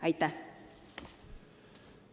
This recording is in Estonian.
Aitäh!